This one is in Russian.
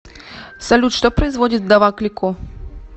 салют что производит вдова клико